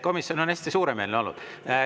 Komisjon on hästi suuremeelne olnud.